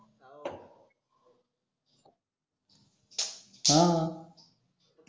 आह हा